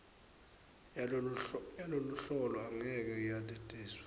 yaloluhlolo angeke yatiswe